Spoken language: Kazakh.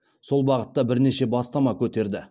сол бағытта бірнеше бастама көтерді